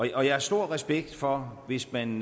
jeg har stor respekt for hvis man